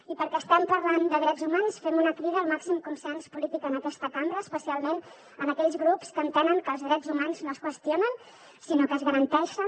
i perquè estem parlant de drets humans fem una crida al màxim consens polític en aquesta cambra especialment a aquells grups que entenen que els drets humans no es qüestionen sinó que es garanteixen